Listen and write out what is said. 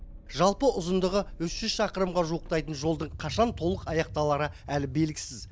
жалпы ұзындығы үш жүз шақырымға жуықтайтын жолдың қашан толық аяқталары әлі белгісіз